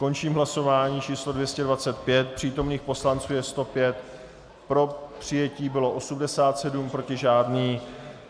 Končím hlasování číslo 225, přítomných poslanců je 105, pro přijetí bylo 87, proti žádný.